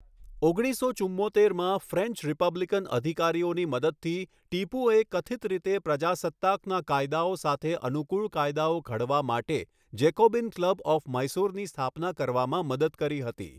ઓગણીસો ચુમ્મોતેરમાં, French republican અધિકારીઓની મદદથી ટીપુએ કથિત રીતે 'પ્રજાસત્તાકના કાયદાઓ સાથે અનુકૂળ કાયદાઓ ઘડવા' માટે જેકૉબિન ક્લબ ઓફ મૈસૂરની સ્થાપના કરવામાં મદદ કરી હતી.